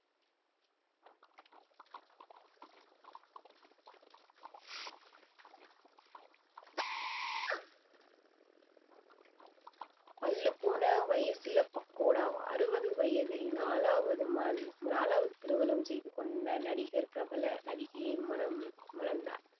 பல்லு போன வயசுல பக்கோடாவா அறுபது வயதில் நாலாவது ம~ நாலாவது திருமணம் செய்து கொண்ட நடிகர் பிரபல நடிகையை மனந்~ மனந்தார்